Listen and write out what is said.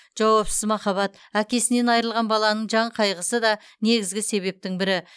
жауапсыз махаббат әкесінен айырылған баланың жан қайғысы да негізгі себептің бірі